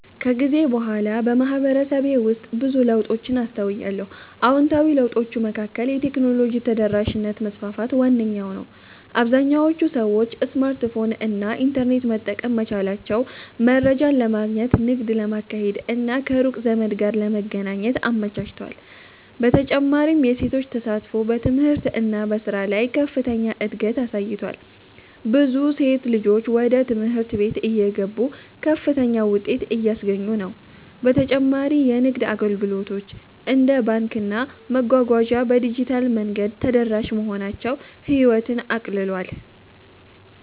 ከጊዜ በኋላ በማህበረሰቤ ውስጥ ብዙ ለውጦችን አስተውያለሁ። አዎንታዊ ለውጦቹ መካከል የቴክኖሎጂ ተደራሽነት መስፋፋት ዋነኛው ነው - አብዛኞቹ ሰዎች ስማርትፎን እና ኢንተርኔት መጠቀም መቻላቸው መረጃን ለማግኘት፣ ንግድ ለማካሄድ እና ከሩቅ ዘመድ ጋር ለመገናኘት አመቻችቷል። በተጨማሪም የሴቶች ተሳትፎ በትምህርት እና በሥራ ላይ ከፍተኛ እድገት አሳይቷል፤ ብዙ ሴት ልጆች ወደ ትምህርት ቤት እየገቡ ከፍተኛ ውጤት እያስገኙ ነው። በተጨማሪ የንግድ አገልግሎቶች እንደ ባንክና መጓጓዣ በዲጂታል መንገድ ተደራሽ መሆናቸው ህይወትን አቀለጠ።